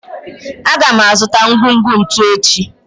A ga m azụta ngwugwu ntu echi